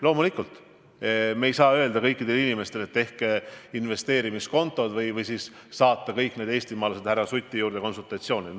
Loomulikult me ei saa öelda kõikidele inimestele, et tehke investeerimiskontod, või siis saata kõik need eestimaalased härra Suti juurde konsultatsioonile.